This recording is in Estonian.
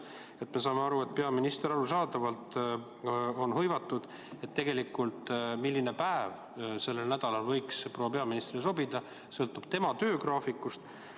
Arusaadavalt peaminister on hõivatud ja see, milline päev sellel nädalal võiks proua peaministrile sobida, sõltub tema töögraafikust.